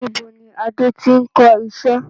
Nibo ni Adé tí n kọ iṣẹ́?